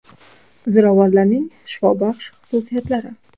Ziravorlarning shifobaxsh xususiyatlari.